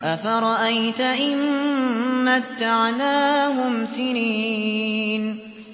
أَفَرَأَيْتَ إِن مَّتَّعْنَاهُمْ سِنِينَ